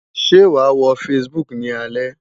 Ṣé wàá wo Facebook ni alẹ́?